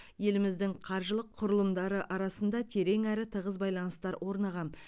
елдеріміздің қаржылық құрылымдары арасында терең әрі тығыз байланыстар орнаған